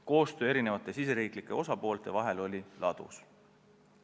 Koostöö riigisiseste osapoolte vahel oli ladus.